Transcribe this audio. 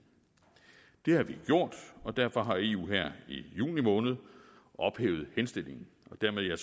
det har vi gjort og derfor har eu her i juni måned ophævet henstillingen og dermed har